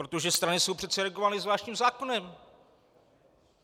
Protože strany jsou přece regulovány zvláštním zákonem.